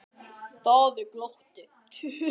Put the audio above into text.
Daði glotti.